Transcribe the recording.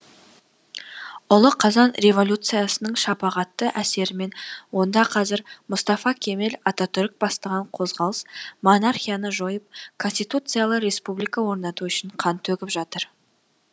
ұлы қазан революциясының шапағатты әсерімен онда қазір мұстафа кемел ататүрік бастаған қозғалыс монархияны жойып конституциялы республика орнату үшін қан төгіп жатыр